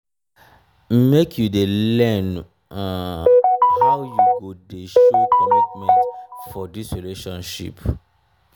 make you dey learn um how you go dey show commitment for dis relationship.